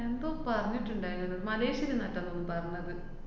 എന്തോ പറഞ്ഞിട്ട്ണ്ടാരുന്നു, മലേഷ്യയില്ന്നാറ്റോന്നാണ് പറഞ്ഞത്.